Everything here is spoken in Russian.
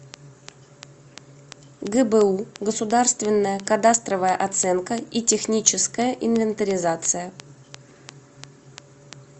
гбу государственная кадастровая оценка и техническая инвентаризация